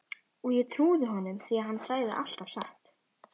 Og ég trúði honum því hann sagði alltaf satt.